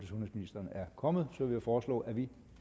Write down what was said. sundhedsministeren er kommet vil jeg foreslå at vi